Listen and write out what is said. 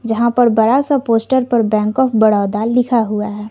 जहां पर बड़ा सा पोस्टर पर बैंक ऑफ़ बडौदा लिखा हुआ है।